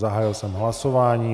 Zahájil jsem hlasování.